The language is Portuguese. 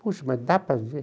Puxa, mas dá para viver?